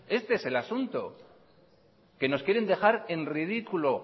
este es el asunto que nos quieren dejar en ridículo